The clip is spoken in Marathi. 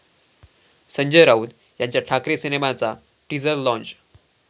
संजय राऊत यांच्या 'ठाकरे' सिनेमाचा टीझर लाँच